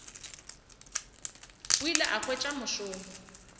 o ile a hwetša mošomo